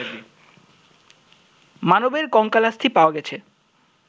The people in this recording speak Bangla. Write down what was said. মানবের কঙ্কালাস্থি পাওয়া গেছে